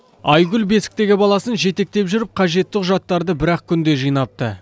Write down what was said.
айгүл бесіктегі баласын жетектеп жүріп қажетті құжаттарды бір ақ күнде жинапты